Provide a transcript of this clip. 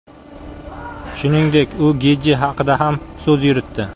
Shuningdek, u Getji haqida ham so‘z yuritdi.